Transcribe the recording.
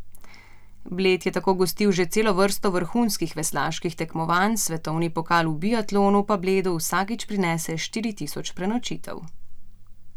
Bled je tako gostil že celo vrsto vrhunskih veslaških tekmovanj, svetovni pokal v biatlonu pa Bledu vsakič prinese štiri tisoč prenočitev.